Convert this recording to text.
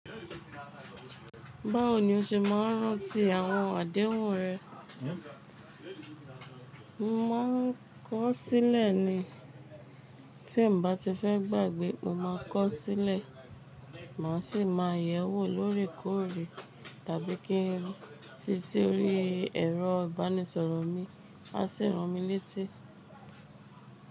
Báwo ni o ṣe máa ń rántí àwọn àdéhùn rẹ? Mo máa ń kọ sílẹ̀ ni. Tí n bá ti fẹ́ gbàgbé, mo ma kọ sílẹ̀, màá sì máa yẹ̀ ẹ́ wò lórekọ́re tàbí kí n fi sí orí ẹ̀rọ ìbánisọ̀rọ̀ mi, á sì rán mi létí.